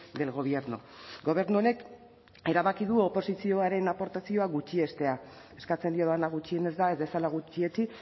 del gobierno gobernu honek erabaki du oposizioaren aportazioa gutxiestea eskatzen diodana gutxienez da ez dezala gutxietsi